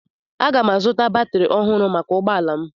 Aga m azụta batrị ọhụrụ maka ụgbọ ala m